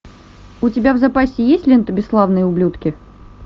у тебя в запасе есть лента бесславные ублюдки